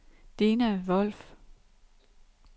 Dina Wolff